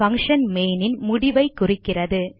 function main ன் முடிவை குறிக்கிறது